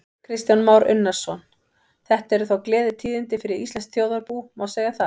Kristján Már Unnarsson: Þetta eru þá gleðitíðindi fyrir íslenskt þjóðarbú, má segja það?